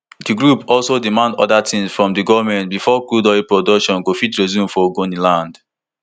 di group also demand oda tins from di goment bifor crude oil production go fit resume for ogoniland